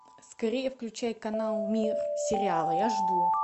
скорее включай канал мир сериалы я жду